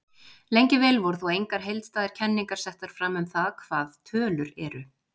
Lengi vel voru þó engar heildstæðar kenningar settar fram um það hvað tölur eru.